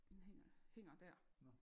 Den hænger hænger dér